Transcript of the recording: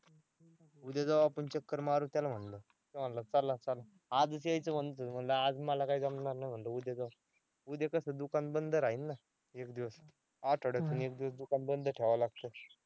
उद्या जाऊ आपण चक्कर मारू त्याला म्हंटल. तो म्हंटला चला चला आधीच यायचं म्हणतोय म्हंटला. आज मला काय जमणार नाही म्हंटल उद्या जाऊ. उद्या कसं दुकान बंद राहील ना एक दिवस आठवड्यातून एक दिवस दुकान बंद ठेवावं लागतं.